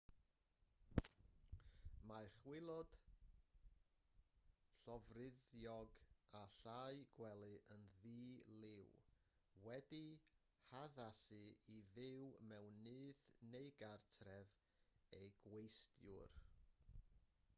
mae chwilod llofruddiog a llau gwely yn ddi-liw wedi'u haddasu i fyw mewn nyth neu gartref eu gwesteiwr